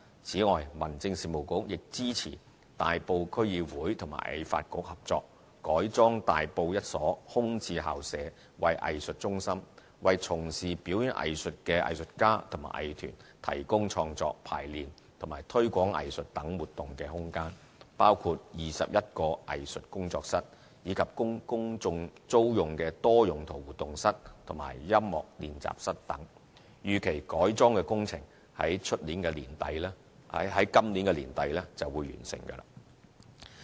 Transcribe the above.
此外，民政事務局亦支持大埔區議會與藝發局合作，改裝大埔一所空置校舍為藝術中心，為從事表演藝術的藝術家和藝團提供創作、排練和推廣藝術等活動的空間，包括21個藝術工作室，以及供公眾租用的多用途活動室和音樂練習室等。預期改裝工程約於今年年底完成。